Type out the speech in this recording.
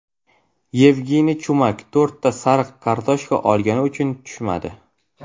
Yevgeniy Chumak to‘rtta sariq kartochka olgani uchun tushmadi.